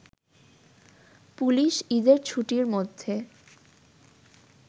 police ঈদের ছুটির মধ্যে